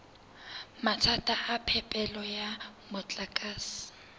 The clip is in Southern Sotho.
mathata a phepelo ya motlakase